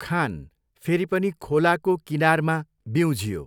खान फेरि पनि खोलाको किनारमा बिउँझियो।